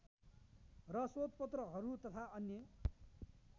र शोधपत्रहरू तथा अन्य